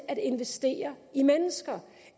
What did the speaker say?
at investere i mennesker